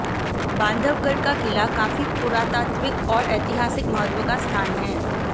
बांधवगढ़ का किला काफी पुरातात्विक और ऐतिहासिक महत्व का स्थान है